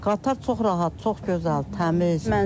Qatar çox rahat, çox gözəl, təmiz.